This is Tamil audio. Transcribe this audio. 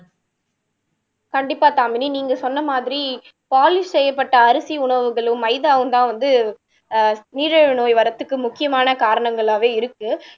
கண்டிப்பா தாமினி நீங்க சொன்ன மாதிரி பாலிஷ் செய்யப்பட்ட அரிசி உணவுகளும் மைதாவும்தான் வந்து ஆஹ் நீரிழிவு நோய் வரதுக்கு முக்கியமான காரணங்களாவே இருக்கு